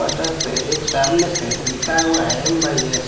Poster पे एक सामने से लिखा हुआ है एम_बाई_एस।